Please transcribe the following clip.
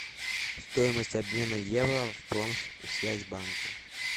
стоимость обмена евро в промсвязьбанке